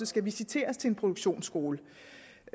skal visiteres til en produktionsskole det